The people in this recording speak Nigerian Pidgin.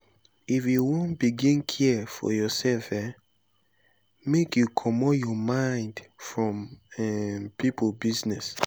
if you wan begin care for yoursef um make you comot your mind from um pipo business.